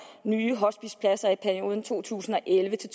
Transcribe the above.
nye hospicepladser i perioden to tusind og elleve til